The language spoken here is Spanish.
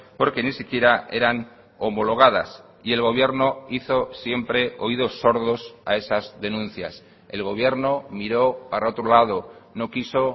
porque ni siquiera eran homologadas y el gobierno hizo siempre oídos sordos a esas denuncias el gobierno miro para otro lado no quiso